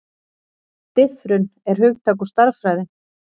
Diffrun er hugtak úr stærðfræði.